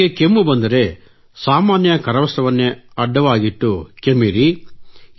ನಿಮಗೆ ಕೆಮ್ಮು ಬಂದರೆ ಕರವಸ್ತ್ರ ಸಾಮಾನ್ಯ ಕರವಸ್ತ್ರವನ್ನೇ ಅಡ್ಡವಾಗಿಟ್ಟು ಕೆಮ್ಮಿರಿ